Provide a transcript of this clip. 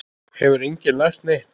Hefur enginn lært neitt?